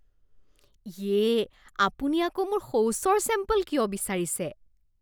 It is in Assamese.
ইয়ে। আপুনি আকৌ মোৰ শৌচৰ ছেম্পল কিয় বিচাৰিছে?